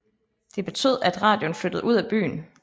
Det betød at radioen flyttede ud af byen